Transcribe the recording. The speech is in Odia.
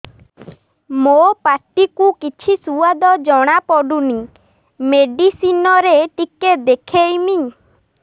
ମୋ ପାଟି କୁ କିଛି ସୁଆଦ ଜଣାପଡ଼ୁନି ମେଡିସିନ ରେ ଟିକେ ଦେଖେଇମି